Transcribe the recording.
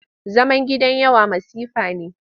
Zaman gidan yawa masifa ne.